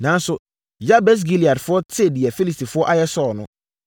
Nanso, Yabes Gileadfoɔ tee deɛ Filistifoɔ ayɛ Saulo no,